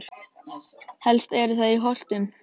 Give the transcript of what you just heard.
Helst eru þær í Holtum og